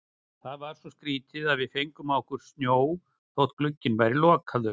Það er svo skrýtið að við fengum á okkur snjó þótt glugginn væri lokaður.